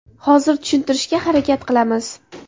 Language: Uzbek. Hozir tushuntirishga harakat qilamiz.